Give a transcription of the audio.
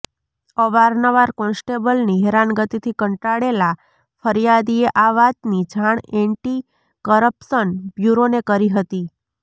અવારનવાર કોન્સ્ટેબલની હેરાનગતિથી કંટાળેલાં ફરિયાદીએ આ વાતની જાણ એન્ટી કરપ્શન બ્યૂરોને કરી હતી